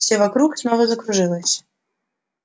все вокруг снова закружилось